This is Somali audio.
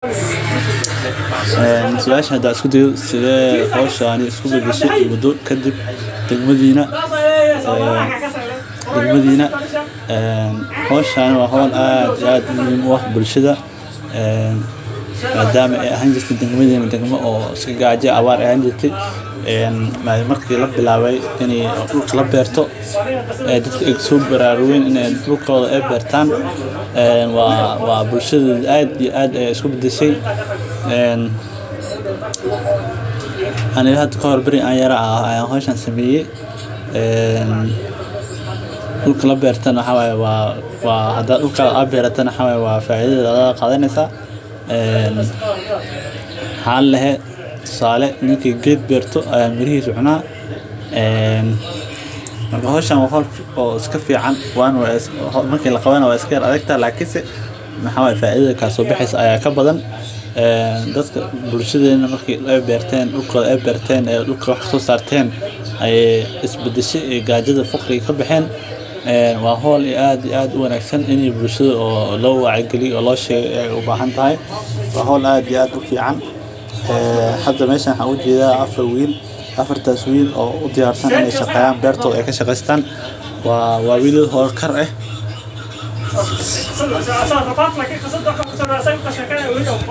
Ee suasha hada isku dayo sithe hoshani isku badashe hoshan dag madina ee hoshan waa hol aad iyo aad muhiim u ah bulshaada madama ee ahan jirte dag madama dagma dacif ah ee marki labilawe dulka laberto dadka ee ao bararugen dulkodha in ee bertan waa bulshaada aad iyo aad ayey isku badashey ee ani hada kahore wagi an yara ayan hoshan sameye ee dulka lanertana waxaa waye hada dul beratana waxaa ladehe tusale nin geed beerto aya mirihisa cuna ama hoshan waa hol iska fican marki laqawanaya we iska yar adagte lakin maxaa waye faida kaso baxeso aya iska badan bulshadena marke berten dulkoda ee berten ee fuqriga kabaxen ee waa hol aad iyo aad u wanagsan ini bulshada lo wacya galiyo ayey u bahantahay oo loshego, hada meshan waxan ku arki haya afar wil afartas wil oo udiyar san in ee beertodha kashaqestan waa wilal holkar eh.